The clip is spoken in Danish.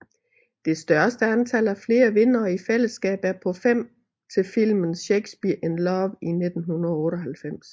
Det største antal af flere vindere i fællesskab er på fem til filmen Shakespeare in Love i 1998